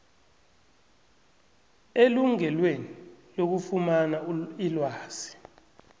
elungelweni lokufumana ilwazi